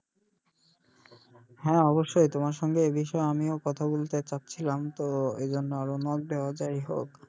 হ্যাঁ অবশ্যই তোমার সঙ্গে এ বিষয়ে আমিও কথা বলতে চাচ্ছিলাম তো এজন্য যাইহোক